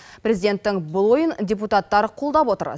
президенттің бұл ойын депутаттар қолдап отыр